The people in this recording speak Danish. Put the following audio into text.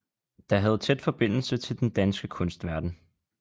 Der havde tæt forbindelse til den danske kunstverden